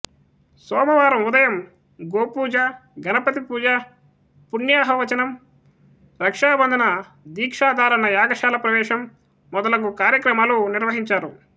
సోమవారం ఉదయం గోపూజ గణపతి పూజ పుణ్యాహవచనం రక్షాబంధన దీక్షాధారణ యాగశాల ప్రవేశం మొదలగు కార్యక్రమాలు నిర్వహించారు